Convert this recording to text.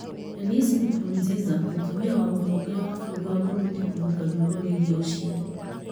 Denise Nkurunziza mũtumia wa mũtongoria wa bũrũri wa Burundi kũruta rwĩmbo rwĩgiĩ ũciari